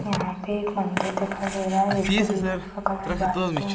यहाँ पे एक मंदिर दिखाई दे रहा है जिसकी दीवाल का कलर व्हाइट है।